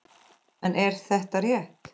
En er þetta rétt?